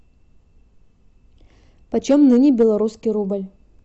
почем ныне белорусский рубль